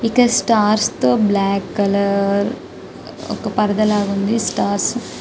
ఇక్కడ స్టార్స్ తో black colour పరదా లాగ ఉంది స్టార్స్ --